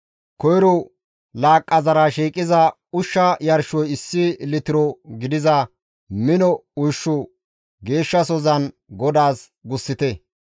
Koyro laaqqazara shiiqiza ushsha yarshoy issi litiro gidiza mino ushshu geeshshasozan GODAAS gussite.